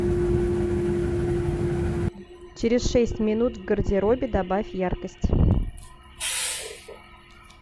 через шесть минут в гардеробе добавь яркость